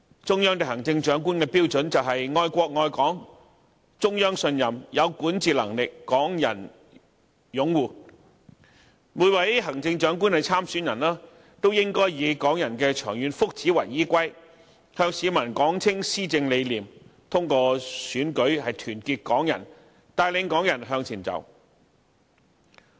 中央對行政長官的標準是愛國愛港、中央信任、有管治能力、港人擁護，每位行政長官參選人都應該以港人的長遠福祉為依歸，向市民道明施政理念，通過選舉團結港人，帶領港人向前走。